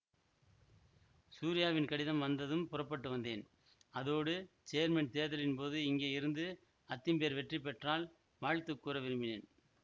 சூரியாவின் கடிதம் வந்ததும் புறப்பட்டு வந்தேன் அதோடு சேர்மன் தேர்தலின்போது இங்கே இருந்து அத்திம்பேர் வெற்றி பெற்றால் வாழ்த்து கூற விரும்பினேன்